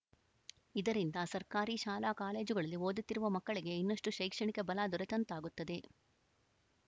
ಇದರಿಂದ ಸರ್ಕಾರಿ ಶಾಲಾ ಕಾಲೇಜುಗಳಲ್ಲಿ ಓದುತ್ತಿರುವ ಮಕ್ಕಳಿಗೆ ಇನ್ನಷ್ಟುಶೈಕ್ಷಣಿಕ ಬಲ ದೊರೆತಂತಾಗುತ್ತದೆ